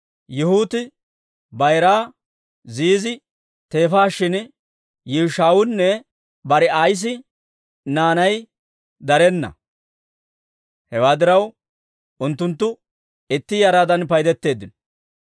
Yaahati bayiraa Ziizi teefaa shin Yi'uushawunne Barii'assi naanay darenna; hewaa diraw, unttunttu itti yaraadan paydetteeddino.